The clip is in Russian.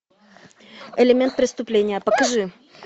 элемент преступления покажи